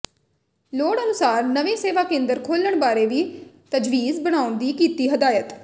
ਲੋੜ ਅਨੁਸਾਰ ਨਵੇਂ ਸੇਵਾ ਕੇਂਦਰ ਖੋਲਣ ਬਾਰੇ ਵੀ ਤਜਵੀਜ਼ ਬਣਾਉਣ ਦੀ ਕੀਤੀ ਹਦਾਇਤ